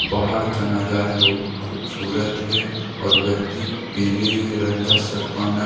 पहाड़ का नजारा बहुत खूबसूरत है और व्यक्ति पीले रंग का शर्ट पहना है।